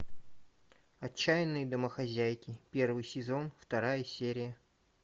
отчаянные домохозяйки первый сезон вторая серия